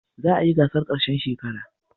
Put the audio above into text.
Za a yi gasar ƙarshen shekara.